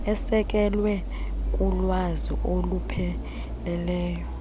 esekelwe kulwazi olupheleleyo